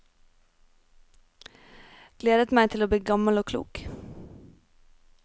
Gledet meg til å bli gammel og klok.